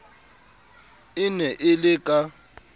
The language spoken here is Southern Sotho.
e ne e le ka